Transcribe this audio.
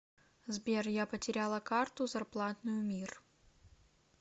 сбер я потеряла карту зарплатную мир